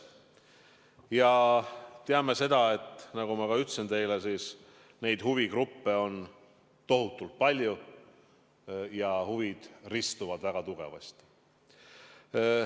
Ja me teame, nagu ma teile ka ütlesin, et huvigruppe on tohutult palju ja huvid ristuvad väga tugevasti.